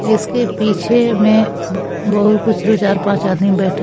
इसके पीछे में ब बहुत कुछ दो चार पांच आदमी बैठे--